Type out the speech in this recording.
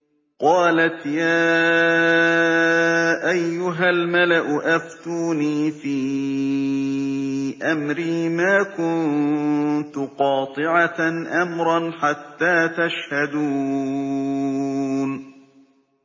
قَالَتْ يَا أَيُّهَا الْمَلَأُ أَفْتُونِي فِي أَمْرِي مَا كُنتُ قَاطِعَةً أَمْرًا حَتَّىٰ تَشْهَدُونِ